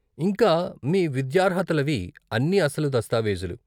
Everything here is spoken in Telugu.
ఇంకా మీ విద్యార్హతలవి అన్నీ అసలు దస్తావేజులు.